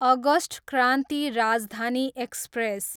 August Kranti Rajdhani express